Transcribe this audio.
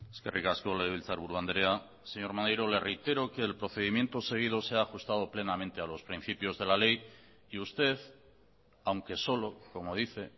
eskerrik asko legebiltzarburu andrea señor maneiro le reitero que el procedimiento seguido se ha ajustado plenamente a los principios de la ley y usted aunque solo como dice